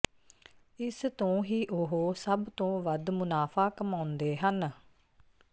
ਇਸ ਤੋਂ ਹੀ ਉਹ ਸਭ ਤੋਂ ਵੱਧ ਮੁਨਾਫ਼ਾ ਕਮਾਉਂਦੇ ਹਨ